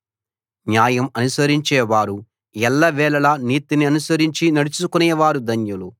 న్యాయం అనుసరించేవారు ఎల్లవేళలా నీతిననుసరించి నడుచుకునేవారు ధన్యులు